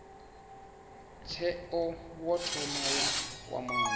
tsheo wo thoma wa kwamana